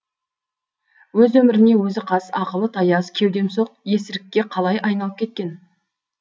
өз өміріне өзі қас ақылы таяз кеудемсоқ есірікке қалай айналып кеткен